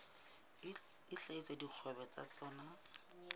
a hlahisa dikgwebo tsa tsona